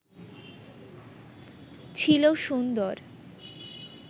ছিল সুন্দর